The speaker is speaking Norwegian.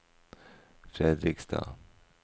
Fredrikstad